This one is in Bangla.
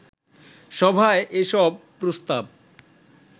সভায় এসব প্রস্তাব